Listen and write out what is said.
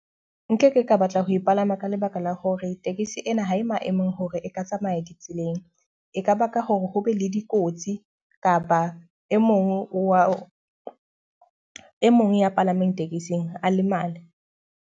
Nkeke ka batla ho e palama ka lebaka la hore tekesi ena ha e mo e mong a hore e ka tsamaya ditseleng. E ka baka hore ho be le dikotsi kapa e mong wa e mong ya palameng tekesing a lemale.